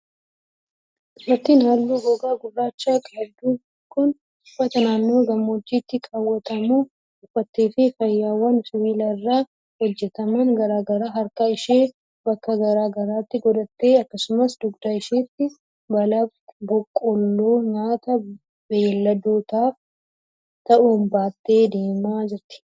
Dubartiin haalluu gogaa gurraacha qabdu kun, uffata naannoo gammoojjiitti kaawwatamu uffattee fi faayawwan sibiila irraa hojjataman garaa garaa harka ishee bakka garaa garaatti godhattee akkasumas dugda isheetti baala boqqolloo nyaata beeyiladootaaf ta'u baattee deemaa jirti.